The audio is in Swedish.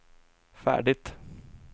färdigt